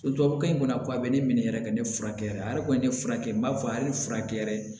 Tubabukan in kɔni a bɛ ne minɛ yɛrɛ ka ne furakɛ ale kɔni ye ne furakɛ n b'a fɔ hali ne furakɛ